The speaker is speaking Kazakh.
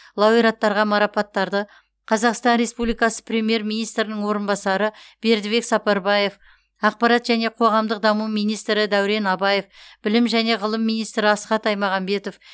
лауреаттарға марапаттарды қазақстан республикасы премьер министрінің орынбасары бердібек сапарбаев ақпарат және қоғамдық даму министрі дәурен абаев білім және ғылым министрі асхат аймағамбетов